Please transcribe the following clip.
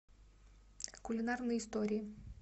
кулинарные истории